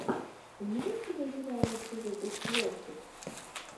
имеется ли у тебя лучший выпуск левчик